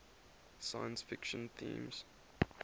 science fiction themes